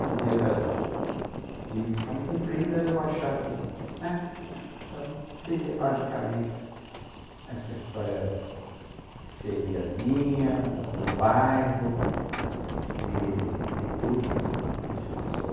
No dia da de missão cumprida, eu achar que, aham... Então, seria basicamente essa história que seria minha, do bairro, de de tudo que que se passou.